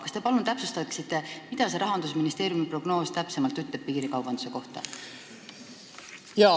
Kas te palun täpsustaksite, mida see Rahandusministeeriumi prognoos piirikaubanduse kohta ütleb?